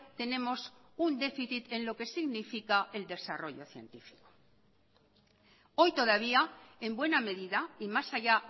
tenemos un déficit en lo que significa el desarrollo científico hoy todavía en buena medida y más allá